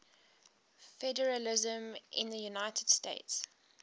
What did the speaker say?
federalism in the united states